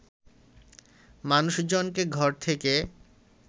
মানুষজনকে ঘর থেকে